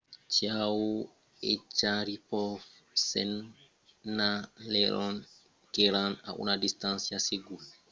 chiao e sharipov senhalèron qu'èran a una distància segura dels propulsors que règlan l'altitud